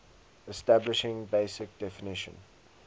establishing basic definition